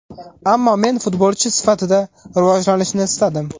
Ammo men futbolchi sifatida rivojlanishni istadim.